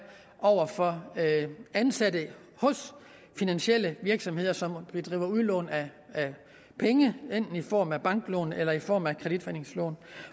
over for ansatte hos finansielle virksomheder som bedriver udlån af penge enten i form af banklån eller i form af kreditforeningslån